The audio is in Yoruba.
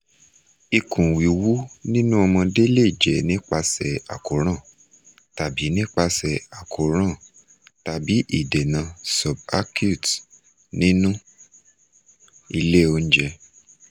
ikun wiwu ninu omode le je nipase akoran tabi nipase akoran tabi idena subacute ninu ile ounje